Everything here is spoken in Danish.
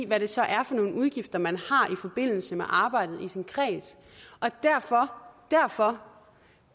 hvad det så er for nogen udgifter man har i forbindelse med arbejdet i sin kreds og derfor derfor